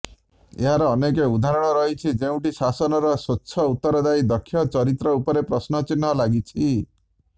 ଏହାର ଅନେକ ଉଦାହରଣ ରହିଛି ଯେଉଁଠି ଶାସନର ସ୍ବଚ୍ଛ ଉତ୍ତରଦାୟୀ ଦକ୍ଷ ଚରିତ୍ର ଉପରେ ପ୍ରଶ୍ନ ଚିହ୍ନ ଲାଗିଛି